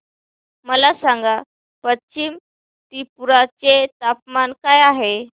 मला सांगा पश्चिम त्रिपुरा चे तापमान काय आहे